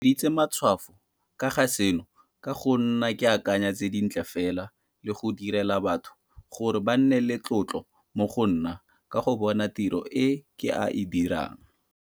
Ke weditse matshwafo ka ga seno ka go nna ke akanya tse di ntle fela le go dira le batho gore ba nne le tlotlo mo go nna ka go bona tiro e ke a e dirang.